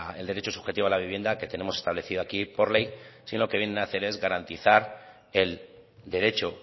el derecho subjetivo a la vivienda que tenemos establecido aquí por ley sino lo que vienen hacer es garantizar el derecho